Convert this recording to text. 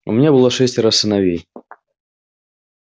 у меня было шестеро сыновей